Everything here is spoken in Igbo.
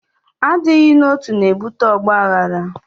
Adịghị n'otu, na-ebute ọgbaghara